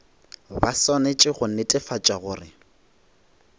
ba swanetše go netefatša gore